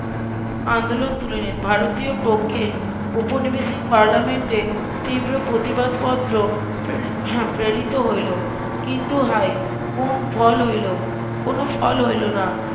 আন্দোলন তুলে নিয়ে ভারতীয়র পক্ষে উপনিবেশিক পার্লামেন্টে তিব্র প্রতিবাদ পত্র ~ প্রেরিত হইল কিন্তু হায় কোন ফল হইল কোনো ফল হইল না